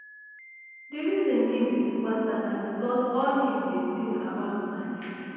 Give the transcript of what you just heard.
di reason im be superstar na becos all im dey think about na diddy